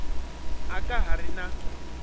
a ka ha ri na